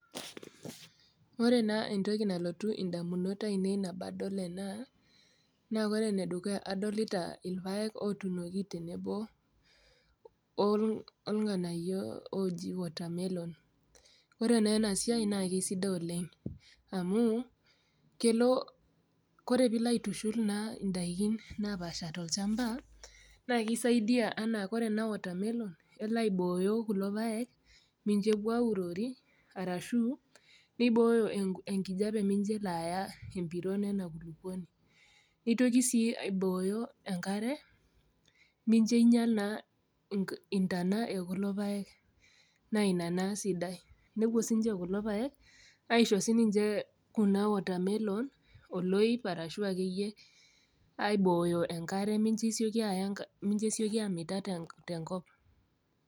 Ore naa entoki nalotu indamunot ainei enabadol ena naa kore enedukuya naa adolita ipayek otunoki tenebo olng'anayio ooji watermelon ore naa ena siai naa kisidai oleng amu kelo kore piilo aitushul naa indaikin napaasha tolchamba naa keisaidia enaa kore ena watermelon kelo aibooyo kulo payek mincho epuo aurori arashu neibooyo enkijape mincho elo aaya empiron ena kulupuoni nitoki sii aibooyo enkare nijio ainyia naa intaina ekulo payek naa ina naa sidai nepuo sinche kulo payek aisho sininche kuna watermelon arashu akeyie aibooyo enkare mincho esioki aaya enka mincho esioki amita tenkop.